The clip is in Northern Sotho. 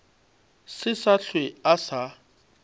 se sa hlwe a sa